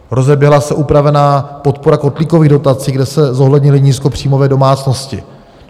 Rozeběhla se upravená podpora kotlíkových dotací, kde se zohlednily nízkopříjmové domácnosti.